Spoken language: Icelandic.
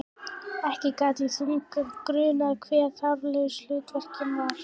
Ekki gat þá grunað hve þarflaus hluttekningin var!